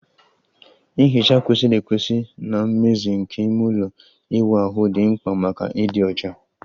Nhicha kwesịrị ekwesị na mmezi nke ime ụlọ ịwụ ahụ dị mkpa maka ịdị ọcha